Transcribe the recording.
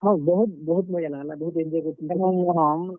ହଁ, ବହୁତ୍ ବହୁତ୍ ମଜା ଲାଗ୍ ଲା ବହୁତ୍ enjoy କରିଥିଲୁଁ ।